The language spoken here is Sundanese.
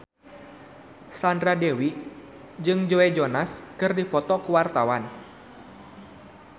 Sandra Dewi jeung Joe Jonas keur dipoto ku wartawan